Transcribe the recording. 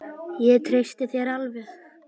Ég treysti þér alveg!